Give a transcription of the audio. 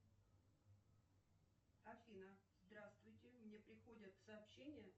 афина здравствуйте мне приходят сообщения